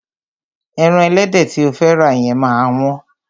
Ẹran ẹlẹ́dẹ̀ tí o fẹ́ rà yẹn máa wọ́n.